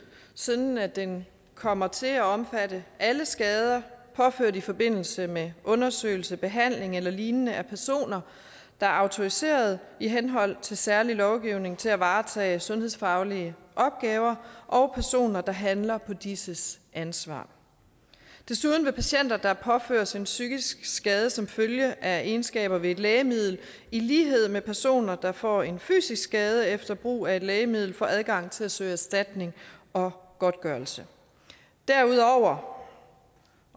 sådan at den kommer til at omfatte alle skader påført i forbindelse med undersøgelse behandling eller lignende foretaget af personer der er autoriserede i henhold til særlig lovgivning til at varetage sundhedsfaglige opgaver og personer der handler på disses ansvar desuden vil patienter der påføres en psykisk skade som følge af egenskaber ved et lægemiddel i lighed med personer der får en fysisk skade efter brug af et lægemiddel få adgang til at søge erstatning og godtgørelse derudover